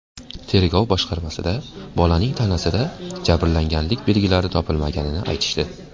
Tergov boshqarmasida bolaning tanasida jabrlanganlik belgilari topilmaganini aytishdi.